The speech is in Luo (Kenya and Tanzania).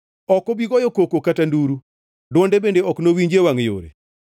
Ok obi goyo koko kata nduru, dwonde bende ok nowinji e wangʼ yore.